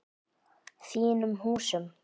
Þínum húsum?